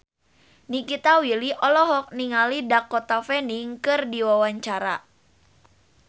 Nikita Willy olohok ningali Dakota Fanning keur diwawancara